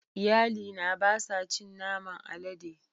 Iyalina ba sa cin naman alade.